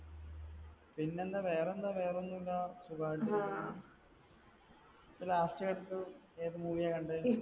പിന്നെ എന്താ വേറെ എന്താ വേറെയൊന്നുമില്ല. സുഖായിട്ടിരിക്കുന്നു. last ആയിട്ട് ഏത് movie യാ കണ്ടത്